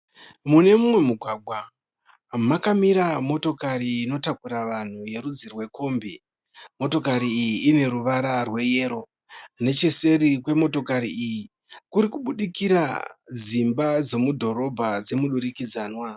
Mune mumwe mugwagwa makamira motokari inotakura vanhu ye rudzi rwekombi. Ine ruvara rwe yero. Necheseri kwe motokari iyi kurikubuudikira dzimba dzemudhorobha dzemudurikidzanwa.